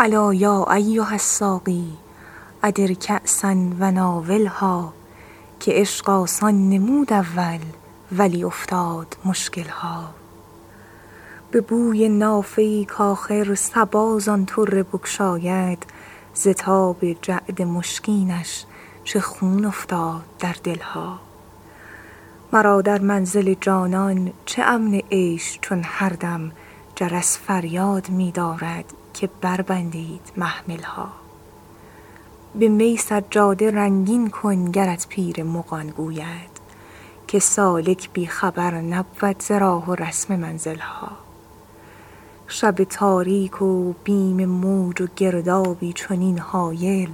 الا یا ایها الساقی ادر کأسا و ناولها که عشق آسان نمود اول ولی افتاد مشکل ها به بوی نافه ای کآخر صبا زان طره بگشاید ز تاب جعد مشکینش چه خون افتاد در دل ها مرا در منزل جانان چه امن عیش چون هر دم جرس فریاد می دارد که بربندید محمل ها به می سجاده رنگین کن گرت پیر مغان گوید که سالک بی خبر نبود ز راه و رسم منزل ها شب تاریک و بیم موج و گردابی چنین هایل